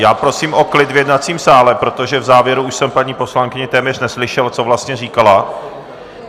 Já prosím o klid v jednacím sále, protože v závěru už jsem paní poslankyni téměř neslyšel, co vlastně říkala.